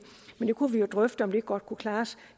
kunne jo drøfte om det ikke godt kunne klares